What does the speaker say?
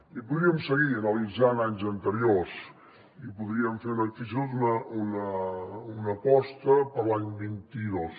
i podríem seguir analitzant anys anteriors i podríem fer fins i tot una aposta per a l’any vint dos